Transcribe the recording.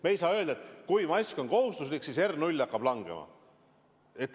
Me ei saa öelda, et kui mask on kohustuslik, siis R0 hakkab langema.